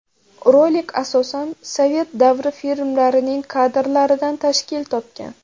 Rolik asosan sovet davri filmlarining kadrlaridan tashkil topgan.